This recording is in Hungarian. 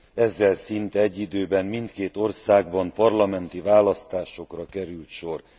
Ezzel szinte egy időben mindkét országban parlamenti választásokra került sor.